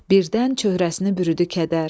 Birdən çöhrəsini bürüdü kədər.